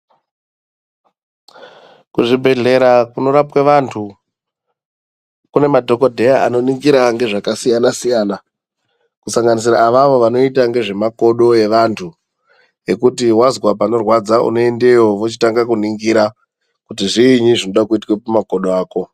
Kuzvibhedhlera kunorapwe vantu kune madhokodheya anoningira ngezvakasiyana-siyana kusanganira avavo vanoita ngezvemakodo evantu ekuti wazwa panorwadza unoende iyoyo vochitanga kuningira kuti zviinyi zvinoda kuitwa pamakodo ako.